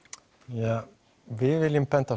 ja við viljum benda